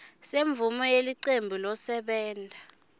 semvumo yelicembu losebenta